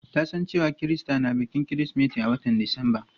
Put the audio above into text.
Ta san cewa Kirista na bikin kirismeti a watan disamba.